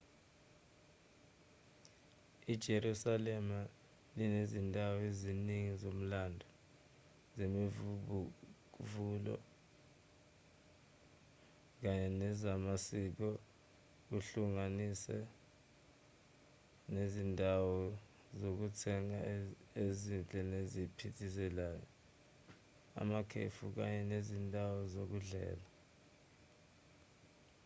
ijerusalema linezindawo eziningi zomlando zemivubukulo kanye nezamasiko kuhlanganise nezindawo zokuthenga ezinhle neziphithizelayo amakhefi kanye nezindawo zokudlela